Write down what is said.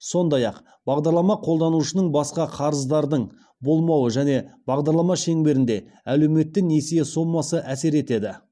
сондай ақ бағдарлама қолданушының басқа қарыздардың болмауы және бағдарлама шеңберінде әлеуетті несие сомасы әсер етеді